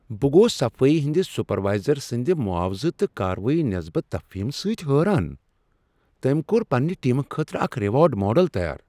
بہٕ گوس صفائی ہندس سپروائزر سند معاوضہٕ تہٕ کاروٲیی نسبت تفہیم سۭتۍ حیران۔ تٔمۍ کوٚر پننہ ٹیمہ خٲطرٕ اکھ ریوارڈ ماڈل تیار۔